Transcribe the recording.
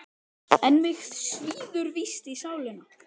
En mig svíður víst í sálina.